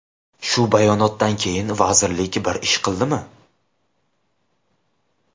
Shu bayonotdan keyin vazirlik bir ish qildimi?